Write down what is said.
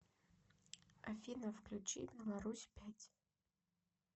афина включи беларусь пять